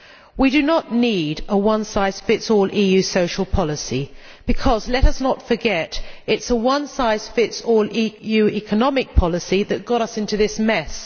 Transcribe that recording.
We do not need a one size fits all EU social policy because, let us not forget, it is a one size fits all EU economic policy which got us into this mess.